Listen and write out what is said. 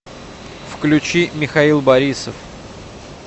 включи михаил борисов